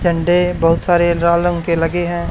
झंडे बहोत सारे राल रंग के लगे हैं।